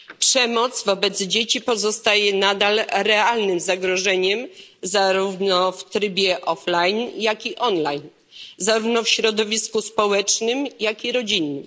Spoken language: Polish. Przemoc wobec dzieci pozostaje nadal realnym zagrożeniem, zarówno w trybie offline, jak i online, zarówno w środowisku społecznym, jak i rodzinnym.